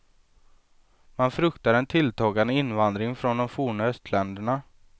Man fruktar en tilltagande invandring från de forna östländerna.